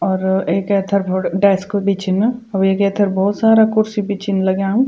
और एक ऐथर भोत डेस्क भी छीन और वेक ऐथर भोत सारा खुर्सी भी छीन लग्याँ।